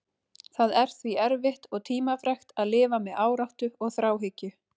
Það er því erfitt og tímafrekt að lifa með áráttu og þráhyggju.